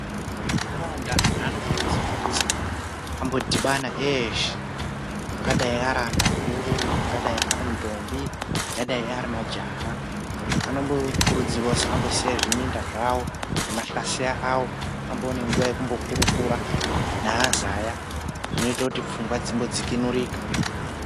Mundaraunda andu anokuridzirwa kuti ambodhibana eshe ingadai ari andu akuru ingadai airi ndombi ingadai ari majaha anombokuridzirwa kuti ambosiya zvimunda zvavo nemahlaseya avo amboona nguva yekumbokueukura neazaya zvinoita kuti pfungwa dzimbovhurika.